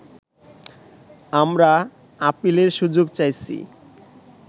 আমরা আপিলের সুযোগ চাইছি